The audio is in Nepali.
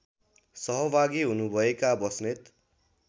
सहभागी हुनुभएका बस्नेत